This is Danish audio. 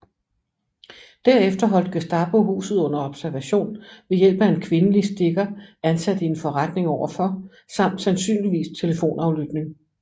Derefter holdt Gestapo huset under observation ved hjælp af en kvindelig stikker ansat i en forretning overfor samt sandsynligvis telefonaflytning